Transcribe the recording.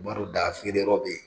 Baro da feere yɔrɔ bɛ yen.